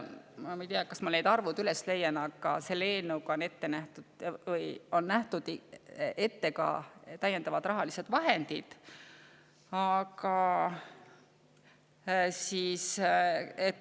Ma ei tea, kas ma leian need arvud üles, aga tegelikult selle eelnõuga on ette nähtud ka täiendavad rahalised vahendid.